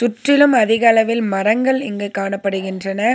முற்றிலும் அதிக அளவில் மரங்கள் இங்கு காணப்படுகின்றன.